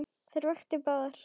Þær vöktu báðar.